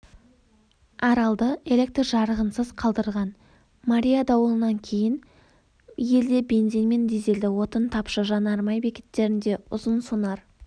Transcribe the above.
аралды электр жарығынсыз қалдырған мария дауылынан кейін елде бензин мен дизельді отын тапшы жанармай бекеттерінде ұзын-сонар